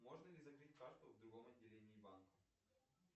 можно ли закрыть карту в другом отделении банка